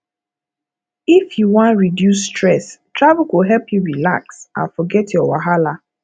if you wan reduce stress travel go help you relax and forget your wahala